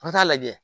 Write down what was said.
An bɛ taa lajɛ